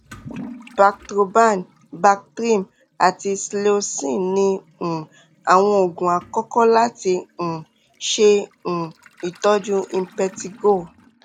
bactroban bactrim àti cleocin ni um àwọn oògun àkọ́kọ́ láti um ṣe um ìtọ́jú impetigo